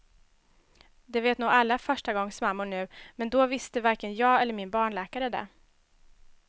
Det vet nog alla förstagångsmammor nu, men då visste varken jag eller min barnläkare det.